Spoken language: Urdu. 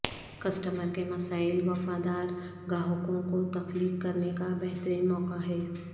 کسٹمر کے مسائل وفادار گاہکوں کو تخلیق کرنے کا بہترین موقع ہے